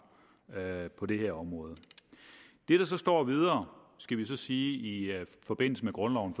på det her område det der så står videre i forbindelse med grundloven